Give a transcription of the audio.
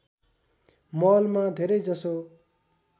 महलमा धेरै जसो